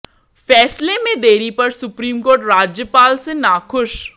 फैसले में देरी पर सुप्रीम कोर्ट राज्यपाल से नाखुश